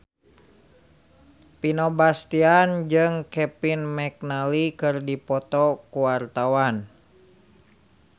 Vino Bastian jeung Kevin McNally keur dipoto ku wartawan